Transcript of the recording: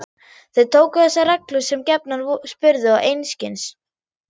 Þau tóku þessar reglur sem gefnar og spurðu einskis.